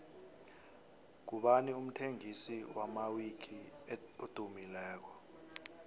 ngubani umthengisi wamawiki edumileko